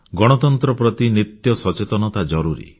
ଗଣତନ୍ତ୍ର ପ୍ରତି ନିତ୍ୟ ସଚେତନତା ଜରୁରୀ